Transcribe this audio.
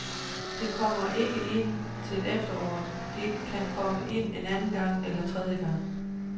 Det kom ikke ind til efteråret, det kom ikke ind anden gang eller tredje gang.